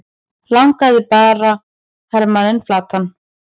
lagði bara hermanninn flatan!